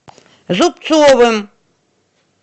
зубцовым